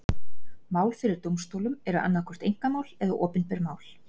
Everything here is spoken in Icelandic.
Mál fyrir dómstólum eru annað hvort einkamál eða opinber mál.